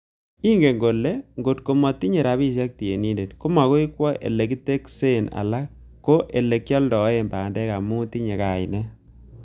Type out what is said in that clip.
"Ingen kole okot ng'o motinye rabisiek tienindet, komogoi kwo ele kiteksen alan ko ele kialdoen bandek amun tinye kainet."